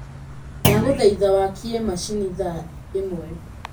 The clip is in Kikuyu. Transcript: ndagũthaitha wakie macini thaa ĩmwe